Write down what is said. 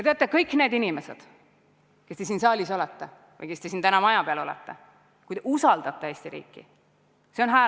Teate, kõik need inimesed, kes te siin saalis olete ja kes te täna siin maja peal olete, see on hääletus Eesti riigi üle.